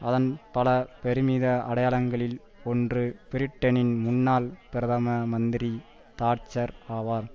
அதன் பல பெருமித அடையாளங்களில் ஒன்று பிரிட்டனின் முன்னாள் பிரதம மந்திரி தாட்சர் ஆவார்